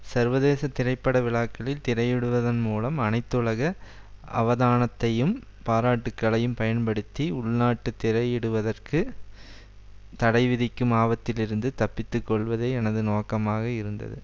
சர்வதேச திரைப்பட விழாக்களில் திரையிடுவதன் மூலம் அனைத்துலக அவதானத்தையும் பாராட்டுக்களையும் பயன்படுத்தி உள்நாட்டு திரையிடுவதற்கு தடைவிதிக்கும் ஆபத்தில் இருந்து தப்பிக்கொள்வதே எனது நோக்கமாக இருந்தது